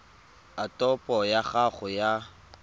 a topo ya gago ya